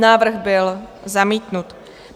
Návrh byl zamítnut.